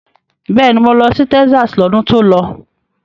Bẹ́ẹ̀ni, mo lọ sí Texas lọ́dún tó lọ.